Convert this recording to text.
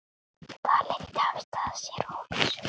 Það leiddi af sér óvissu.